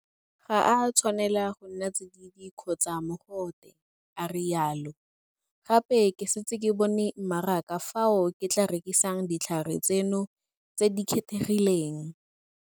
Ga a tshwanela go nna tsididi kgotsa mogote, a rialo. Gape ke setse ke bone mmaraka fao ke tla rekisang ditlhare tseno tse di kgethegileng.